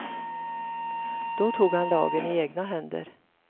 Då tog han lagen i egna händer.